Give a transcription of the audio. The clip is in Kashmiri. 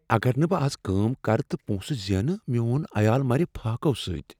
اگر نہٕ بہٕ از کٲم کرٕ تہٕ پۄنٛسہٕ زینہٕ، میون عیال مرِ فاقو سۭتۍ۔